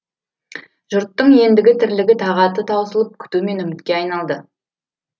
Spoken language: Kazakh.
жұрттың ендігі тірлігі тағаты таусылып күту мен үмітке айналды